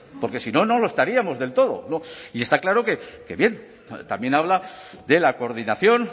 porque si no no lo estaríamos del todo y está claro que bien también habla de la coordinación